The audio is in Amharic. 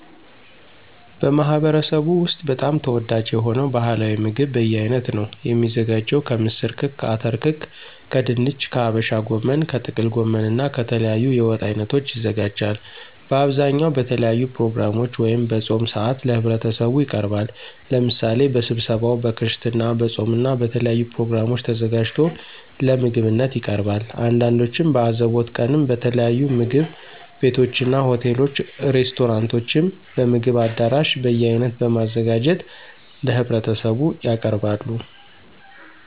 በማህበረሰቡ ወስጥ በጣም ተወዳጅ የሆነው ባህላዊ ምግብ በየአይነት ነው። የሚዘጋጀው ከምስር ክክ፣ አተር ክክ ከድንች፣ ከሀበሻ ጎመን፣ ከጥቅል ጎመን እና ከተለያዩ የወጥ አይነቶች ይዘጋጃል። በአብዛኛው በተለያዩ ፕሮግራሞች ወይም በፆም ሰአት ለህብረተሰቡ ይቀርባል። ለምሳሌ በስብሰባው፣ በክርስትና፣ በፆም እና በተለያዩ ፕሮግራሞች ተዘጋጅቶ ለምግብነት ይቀርባል። አንዳንዶቹም በአዘቦት ቀንም በተለያዩ ምግብ ቤቶችና፣ ሆቴሎች፣ ሬስቶራንቶችም፣ በምግብ አዳራሽ በየአይነት በማዘጋጀት ለህብረተሰቡ ያቀርባሉ።